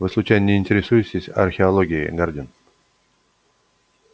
вы случайно не интересуетесь археологией гардин